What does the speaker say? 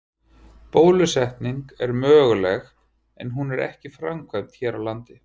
Bólusetning er möguleg en hún er ekki framkvæmd hér á landi.